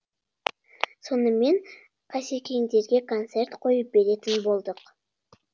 сонымен қасекеңдерге концерт қойып беретін болдық